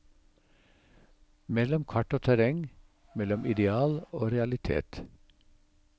Mellom kart og terreng, mellom ideal og realitet.